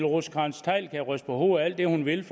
rosenkrantz theil kan ryste på hovedet alt det hun vil